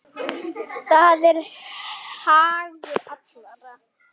Það er hagur allra.